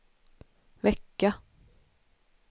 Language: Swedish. vecka